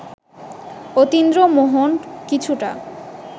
অতীন্দ্রমোহন কিছুটা